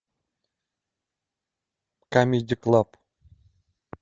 камеди клаб